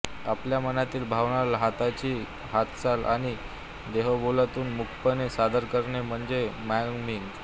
आपल्या मनातील भावना हाताची हालचाल आणि देहबोलीतून मूकपणे सादर करणे म्हणजे मायमिंग